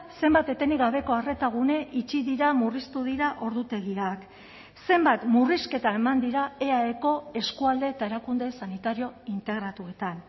zenbat etenik gabeko arreta gune itxi dira murriztu dira ordutegiak zenbat murrizketa eman dira eaeko eskualde eta erakunde sanitario integratuetan